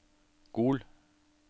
Gol